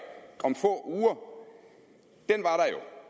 om få